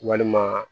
Walima